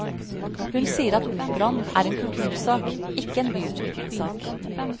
Hun sier at operaen er en kultursak, ikke en byutviklingssak.